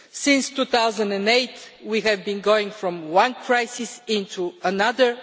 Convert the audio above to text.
Since 2008 we have gone from one crisis to another.